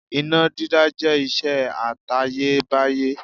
Iná dídá jẹ́ ìṣe àtayébáyé.